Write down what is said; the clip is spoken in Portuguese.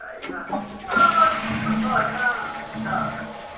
ah, mas não fui nós, não, coitado.